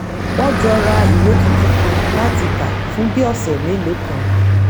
wọ́n jọ ra ìwé tuntun kan láti kà fún bí òsẹ̀ melòó kan